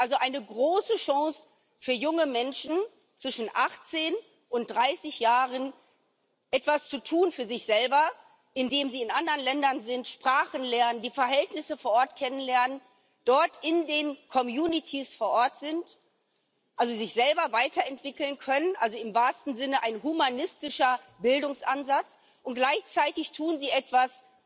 Es ist also eine große Chance für junge Menschen zwischen 18 und 30 Jahren, etwas für sich selber zu tun, indem sie in anderen Ländern sind, Sprachen lernen, die Verhältnisse vor Ort kennenlernen, dort in den Communitys vor Ort sind also sich selber weiterentwickeln können, also im wahrsten Sinne ein humanistischer Bildungsansatz und gleichzeitig tun sie etwas